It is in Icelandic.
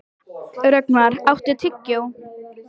Rögnvar, áttu tyggjó?